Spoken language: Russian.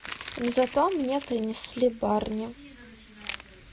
зато мне принесли барни